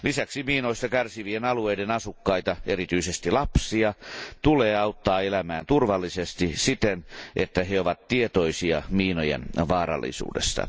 Lisäksi miinoista kärsivien alueiden asukkaita, erityisesti lapsia, tulee auttaa elämään turvallisesti siten, että he ovat tietoisia miinojen vaarallisuudesta.